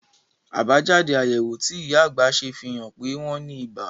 Àbájáde àyẹ̀wò tí ìyá àgbà ṣe fi hàn pé wọ́n ní ibà